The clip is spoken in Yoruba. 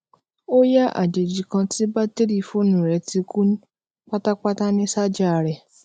ó yá àjèjì kan tí batiri fóònù rè ti kú pátápátá ni saja re